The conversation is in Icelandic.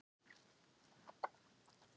Það vissi hann líka að hún hafði gert.